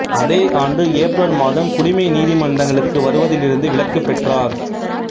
அதே ஆண்டு ஏப்ரல் மாதம் குடிமை நீதிமன்றங்களுக்கு வருவதிலிருந்து விலக்கு பெற்றார்